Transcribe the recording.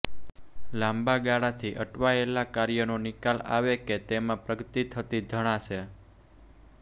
લાંબા ગાળાથી અટવાયેલા કાર્યનો નિકાલ આવે કે તેમાં પ્રગતિ થતી જણાશે